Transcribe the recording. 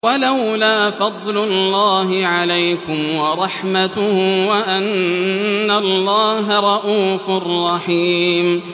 وَلَوْلَا فَضْلُ اللَّهِ عَلَيْكُمْ وَرَحْمَتُهُ وَأَنَّ اللَّهَ رَءُوفٌ رَّحِيمٌ